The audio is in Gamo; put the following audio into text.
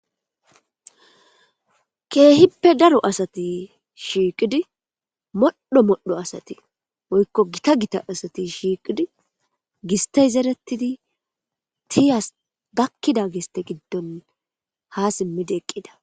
keehippe daro asati shiiqidi moddho modho asati woykko gita gita asati shiiqidi gistey zeretidi tiyas gakkida giste giddon ha simmidi eqqida